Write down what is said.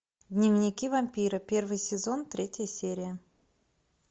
дневники вампира первый сезон третья серия